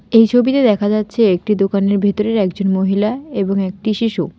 এই ছবিতে দেখা যাচ্ছে একটি দোকানের ভিতরের একজন মহিলা এবং একটি শিশু।